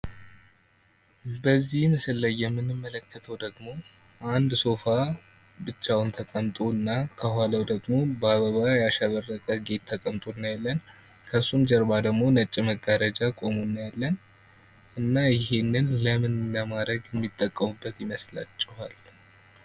በዚህ ምስል ላይ ምንመለከተው ደግሞ አንድ ሶፋ ብቻውን ተቀምጦና ከኋላው ደግሞ በአበባ ያሸበረቀ ጌጥ ተቀምጦ እናያለን። ከሱም ጀርባ ደግሞ ነጭ መጋረጃ ቁሞ እናያለን። እና ይህንን ለምን ለማረግ የሚጠቀሙበት ይመስላቸዋል።